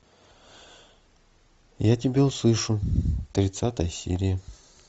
я тебя услышу тридцатая серия